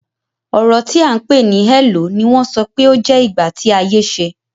Ọrọ ti a ń pè ní "hello" ni wọ́n sọ pé ó jẹ́ ìgbà tí ayé ṣe.